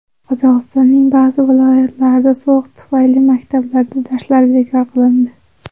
Qozog‘istonning ba’zi viloyatlarida sovuq tufayli maktablarda darslar bekor qilindi.